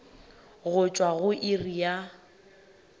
go tšwa go iri ya